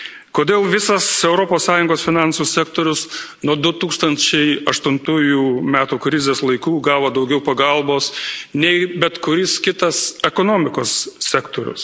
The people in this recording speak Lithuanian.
Kodėl visas Europos Sąjungos finansų sektorius nuo 2008 metų krizės laikų gavo daugiau pagalbos, nei bet kuris kitas ekonomikos sektorius?